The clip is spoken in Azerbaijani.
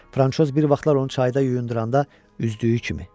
Fransoz bir vaxtlar onu çayda yuyunduranda üzdüyü kimi.